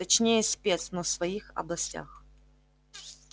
точнее спец но в своих областях